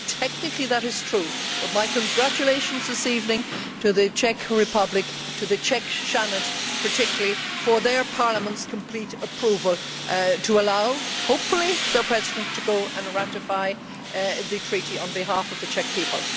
Technically that is true, but my congratulations this evening to the Czech Republic to the Czech Senate particularly for their Parliament's complete approval to allow, hopefully, their President to ratify the Treaty on behalf of the Czech people.